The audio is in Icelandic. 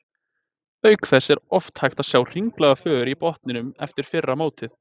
Auk þess er oft hægt að sjá hringlaga för á botninum eftir fyrra mótið.